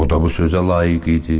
O da bu sözə layiq idi.